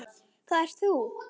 Það ert þú!